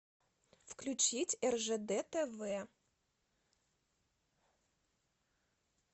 включить ржд тв